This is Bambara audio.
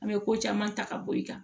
An bɛ ko caman ta ka bɔ i kan